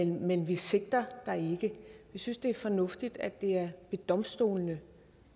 men vi sigter dig ikke vi synes det er fornuftigt at det er ved domstolene